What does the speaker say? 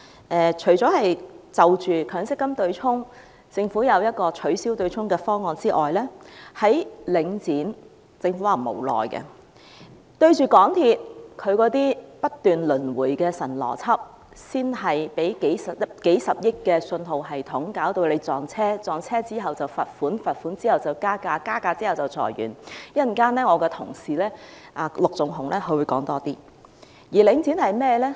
政府除了提出取消強積金對沖機制的方案之外，面對領展，政府表示無奈；面對港鐵公司不斷輪迴的"神邏輯"，即首先是斥資數十億元的信號系統導致撞車，然後罰款，然後加價，然後裁員——稍後我的同事陸頌雄議員會再詳細談論。